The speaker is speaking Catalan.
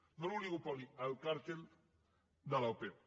no l’oligopoli el càrtel de l’opep